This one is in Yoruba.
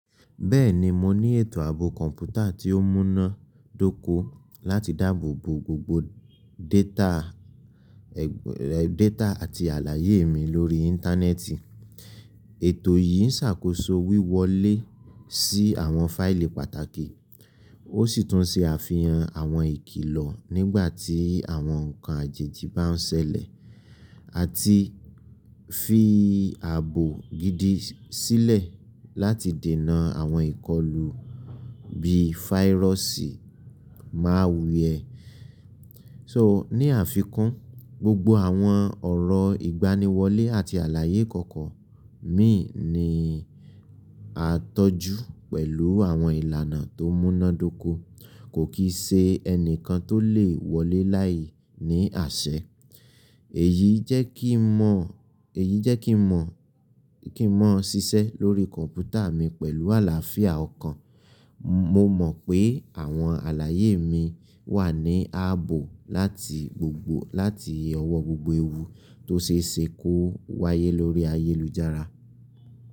Bẹ́ẹ̀ni, mo ní ètò ààbò kọ̀ǹpútà tí ó múnádóko láti dáàbò bo gbogbo data data àti àlàyé mi lórí Íńtánẹ́ẹ̀tì. Ètò yìí ń ṣàkóso wíwọlé sí àwọn fáìlì pàtàkì, ó sì tún ṣe àfihàn àwọn ìkìlọ̀ nígbà tí àwọn nkan àjèjì bá ń ṣẹlẹ̀, àti fi ààbò gidi sílẹ̀ láti dinà àwọn ìkọlù bí fáyírọ́sì málwiẹ. So ní àfikún, gbogbo àwọn ọ̀rọ̀ ìgbaniwọlé àti àlàyé kankan mi ni a tọ́jú pẹ̀lú àwọn ìlànà tó múnádóko, kò kì í ṣe ẹni kan tó lè wọlé láìní àṣẹ eyi. Èyí jẹ́ kí n mọ̀ kin mo ṣiṣẹ́ lórí kọ̀ǹpútà mi pẹ̀lú àlàáfíà ọkàn. Mo mọ̀ pé àwọn àlàyé mi wà ní ààbò lati gbogbo láti ọwọ́ gbogbo ewu tó ṣe é sè ko wáyé lórí ayélujára.